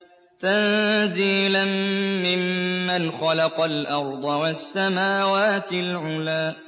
تَنزِيلًا مِّمَّنْ خَلَقَ الْأَرْضَ وَالسَّمَاوَاتِ الْعُلَى